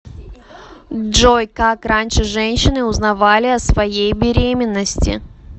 джой как раньше женщины узнавали о своей беременности